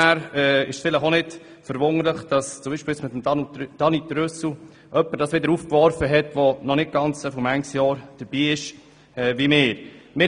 Es ist nicht ganz erstaunlich, dass mit Daniel Trüssel jemand dieses Thema aufgegriffen hat, der noch nicht so viele Jahre dabei ist wie wir.